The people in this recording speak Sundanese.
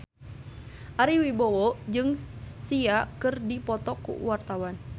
Ari Wibowo jeung Sia keur dipoto ku wartawan